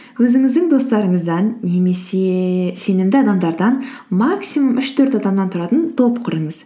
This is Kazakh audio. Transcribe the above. өзіңіздің достарыңыздан немесе сенімді адамдардан максимум үш төрт адамнан тұратын топ құрыңыз